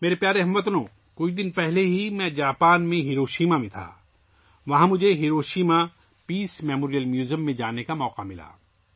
میرے پیارے ہم وطنو، ابھی کچھ دن پہلے میں جاپان کے شہر ہیروشیما میں تھا، وہاں مجھے ہیروشیما پیس میموریل میوزیم دیکھنے کا موقع ملا